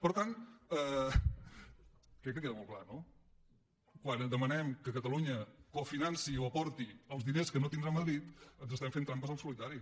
per tant crec que queda molt clar no quan demanem que catalunya cofinanci o aporti els diners que no tindrà madrid ens estem fent trampes al solitari